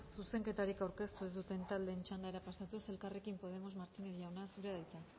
zuzenketarik aurkeztu ez duten taldeen txandara pasatuz elkarrekin podemos martínez jauna zurea da